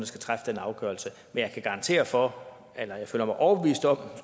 skal træffe den afgørelse men jeg kan garantere for eller jeg føler mig overbevist om